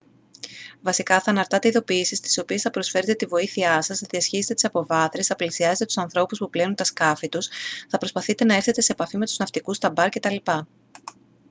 βασικά θα αναρτάτε ειδοποιήσεις στις οποίες θα προσφέρετε την βοήθειά σας θα διασχίζετε τις αποβάθρες θα πλησιάζετε τους ανθρώπους που πλένουν τα σκάφη τους θα προσπαθείτε να έρθετε σε επαφή με τους ναυτικούς στα μπαρ κτλ